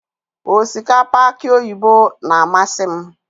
osikapa aki oyibo na-amasị m.